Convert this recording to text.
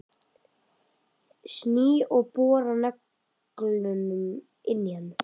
Sný og bora nöglunum inn í hann.